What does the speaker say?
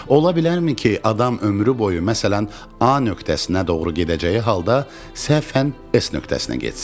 Ola bilərmi ki, adam ömrü boyu, məsələn, A nöqtəsinə doğru gedəcəyi halda səhfən S nöqtəsinə getsin?